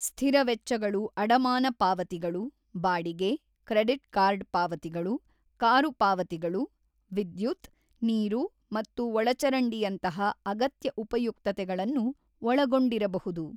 ಸ್ಥಿರ ವೆಚ್ಚಗಳು ಅಡಮಾನ ಪಾವತಿಗಳು, ಬಾಡಿಗೆ, ಕ್ರೆಡಿಟ್ ಕಾರ್ಡ್ ಪಾವತಿಗಳು, ಕಾರು ಪಾವತಿಗಳು, ವಿದ್ಯುತ್, ನೀರು ಮತ್ತು ಒಳಚರಂಡಿಯಂತಹ ಅಗತ್ಯ ಉಪಯುಕ್ತತೆಗಳನ್ನು ಒಳಗೊಂಡಿರಬಹುದು.